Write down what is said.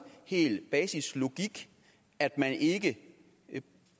helt basislogik at man ikke